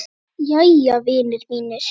Jæja, vinir mínir.